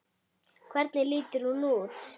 Hvernig lítur hún út?